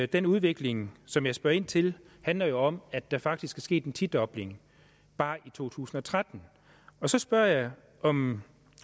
den udvikling som jeg spørger ind til handler jo om at der faktisk er sket en tidobling bare i to tusind og tretten så spørger jeg om